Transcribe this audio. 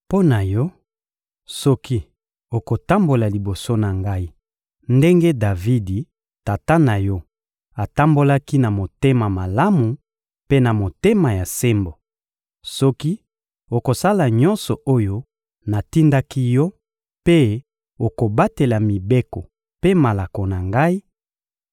Mpo na yo, soki okotambola liboso na Ngai ndenge Davidi, tata na yo, atambolaki na motema malamu mpe na motema ya sembo; soki okosala nyonso oyo natindaki yo mpe okobatela mibeko mpe malako na Ngai,